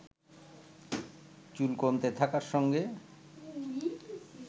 চুল কমতে থাকার সঙ্গে